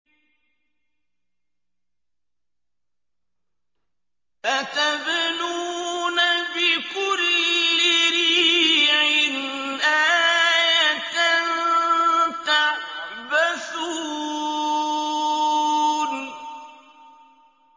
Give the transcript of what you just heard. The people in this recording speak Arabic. أَتَبْنُونَ بِكُلِّ رِيعٍ آيَةً تَعْبَثُونَ